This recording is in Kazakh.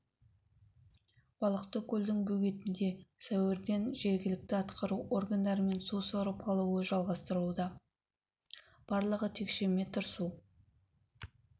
балықты көлдің бөгетінде сәуірден жергілікті атқару органдарымен су сорып алуы жалғастыруда барлығы текше метр су